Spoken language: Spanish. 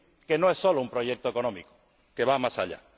que no es solo un proyecto económico, pues va más allá.